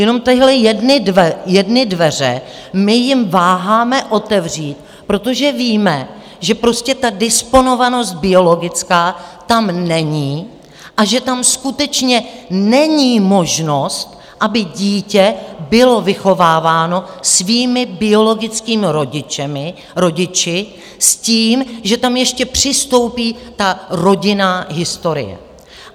Jenom tyhle jedny dveře my jim váháme otevřít, protože víme, že prostě ta disponovanost biologická tam není a že tam skutečně není možnost, aby dítě bylo vychováváno svými biologickými rodiči s tím, že tam ještě přistoupí ta rodinná historie.